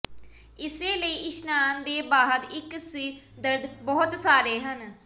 ਇਸੇ ਲਈ ਇਸ਼ਨਾਨ ਦੇ ਬਾਅਦ ਇੱਕ ਸਿਰ ਦਰਦ ਬਹੁਤ ਸਾਰੇ ਹਨ